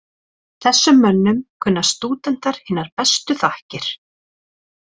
Þessum mönnum kunna stúdentar hinar bestu þakkir.